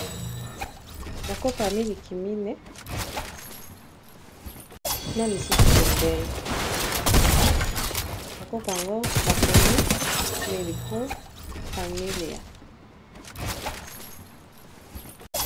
bakopo ya miliki mine na misusu pembeni bakopo ango bakomi miligro familia